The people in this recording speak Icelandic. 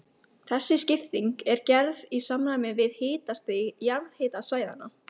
Þessi skipting er gerð í samræmi við hitastig jarðhitasvæðanna.